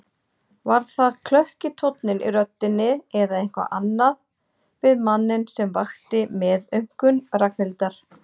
Var það klökki tónninn í röddinni eða eitthvað annað við manninn sem vakti meðaumkun Ragnhildar?